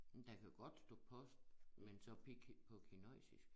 Der kan godt stå post men så på kinøjsisk